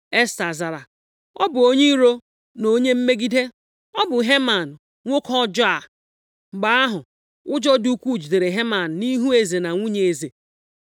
Esta zara, “Ọ bụ onye iro na onye mmegide. Ọ bụ Heman, nwoke ọjọọ a!” Mgbe ahụ, ụjọ dị ukwu jidere Heman nʼihu eze na nwunye eze.